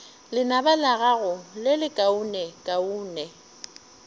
lenaba la gago le lekaonekaone